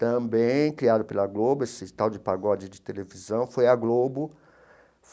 também criado pela Globo, esse tal de pagode de televisão foi a Globo.